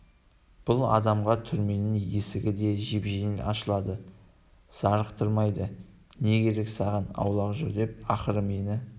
бұл адамға түрменің есігі де жеп-жеңіл ашылады зарықтырмайды не керек саған аулақ жүр деп ақырды мені